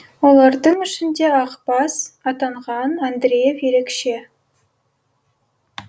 олардың ішінде ақбас атанған андреев ерекше